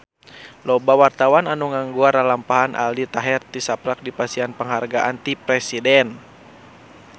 Loba wartawan anu ngaguar lalampahan Aldi Taher tisaprak dipasihan panghargaan ti Presiden